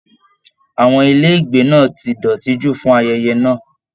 Àwọn ilé ìgbé náà tí dọ́tì jù fún ayẹyẹ náà.